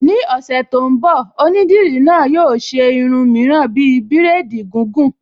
Ní ọ̀sẹ̀ tó ń bọ̀, Onídìrí náà yóò ṣe irun mìíràn bíi bírèdì gìgùn